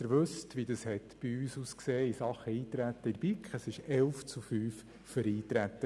BiK. Die BiK hat das Eintreten mit 11 zu 5 Stimmen unterstützt.